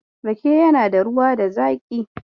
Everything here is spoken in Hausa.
Rake yana da ruwa da zaƙi.